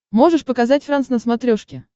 можешь показать франс на смотрешке